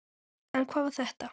En hvað var þetta?